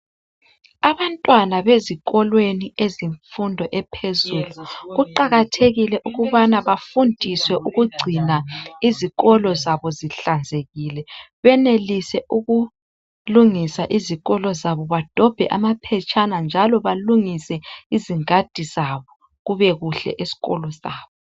Abantwana bezikolweni ezemfundo ephezulu kuqakathekile ukubana bafundiswe ukugcina izikolo zabo zihlanzekile benelise ukulungisa izikolo zabo badobhe amaphetshana njalo balungise izingadi zabo kube kuhle esikolo sabo.